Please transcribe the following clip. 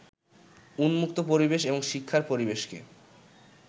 উন্মুক্ত পরিবেশ এবং শিক্ষার পরিবেশকে